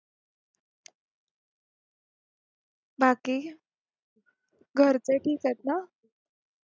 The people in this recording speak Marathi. बाकी घरचे ठीक आहेत ना